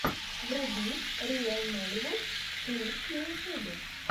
вруби риэл нолливуд клипс на ютюбе